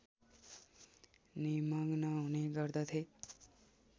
निमग्न हुने गर्दथे